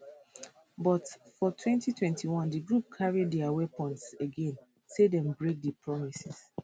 but for 2021 di group carry dia weapons again say dem break di promises